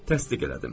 Təsdiq elədim.